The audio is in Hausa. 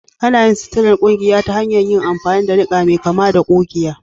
Ana yin suturar ƙugiya ta hanyar yin amfani da niƙa mai kama da ƙugiya